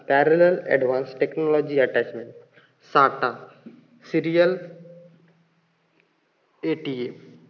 parallel advanced technology attachmentSATAserial